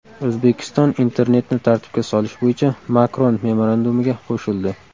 O‘zbekiston internetni tartibga solish bo‘yicha Makron memorandumiga qo‘shildi.